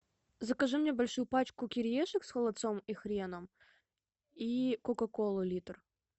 закажи мне большую пачку кириешек с холодцом и хреном и кока колу литр